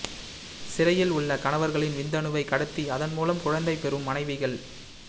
சிறையில் உள்ள கணவர்களின் விந்தணுவை கடத்தி அதன்மூலம் குழந்தை பெறும் மனைவிகள்